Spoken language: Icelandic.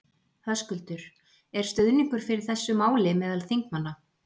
Höskuldur: Er stuðningur fyrir þessu máli meðal þingmanna?